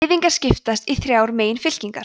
gyðingar skipast í þrjár meginfylkingar